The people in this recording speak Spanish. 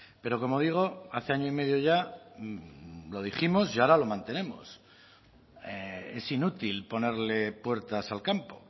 pero como digo hace año y medio ya lo dijimos y ahora lo mantenemos es inútil ponerle puertas al campo